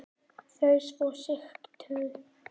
Þau svo sigtuð.